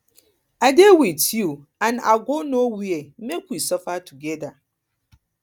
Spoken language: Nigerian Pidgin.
i dey with you and i go no where make we suffer together